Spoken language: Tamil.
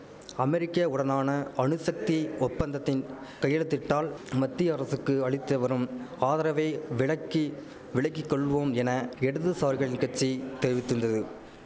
அமெரிக்க உடனான அணுசக்தி ஒப்பந்தத்தின் கையெழுத்திட்டால் மத்திய அரசுக்கு அளித்தவரும் ஆதரவை விலக்கி விலக்கிக்கொள்வோம் என இடதுசாரிகள் கட்சி தெரிவித்திந்தது